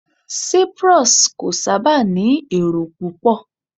Cyprus kò sábà ní èrò púpọ̀